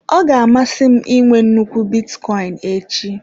Ọ ga-amasị m I nwe nnukwu bitcoin echi.